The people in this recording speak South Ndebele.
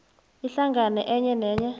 ihlangano enye nenye